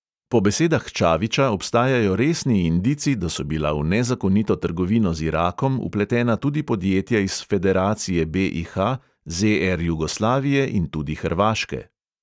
Po besedah čaviča obstajajo resni indici, da so bila v nezakonito trgovino z irakom vpletena tudi podjetja iz federacije BIH, ZR jugoslavije in tudi hrvaške.